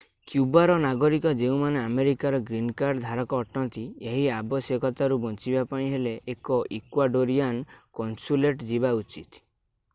କ୍ୟୁବାର ନାଗରିକ ଯେଉଁମାନେ ଆମେରିକାର ଗ୍ରୀନ୍ କାର୍ଡ ଧାରକ ଅଟନ୍ତି ଏହି ଆବଶ୍ୟକତାରୁ ବଞ୍ଚିବା ପାଇଁ ହେଲେ ଏକ ଇକ୍ୱାଡୋରିଆନ୍ କନସୁଲେଟ୍ ଯିବା ଉଚିତ